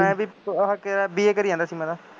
ਮੈਂ ਵੀ ਆਹ ਕੀ ਕਹਿੰਦੇ BA ਕਰੀ ਜਾਂਦਾ ਸੀ ਮੈਂ ਤਾਂ